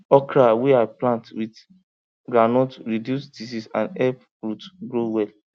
okra wey i plant with groundnut reduce disease and help root grow well